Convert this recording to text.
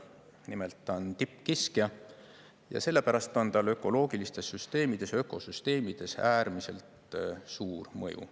Nimelt, ta on tippkiskja ja sellepärast on tal ökoloogilistes süsteemides, ökosüsteemides äärmiselt suur mõju.